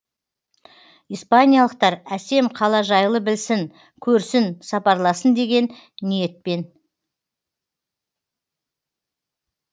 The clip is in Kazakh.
испаниялықтар әсем қала жайлы білсін көрсін сапарласын деген ниетпен